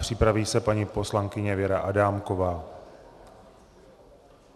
Připraví se paní poslankyně Věra Adámková.